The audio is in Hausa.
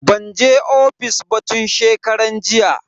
Ban je ofis ba tun shekaran jiya.